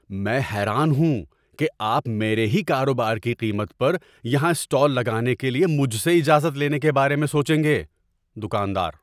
میں حیران ہوں کہ آپ میرے ہی کاروبار کی قیمت پر یہاں اسٹال لگانے کے لیے مجھ سے اجازت لینے کے بارے میں سوچیں گے۔ (دکاندار)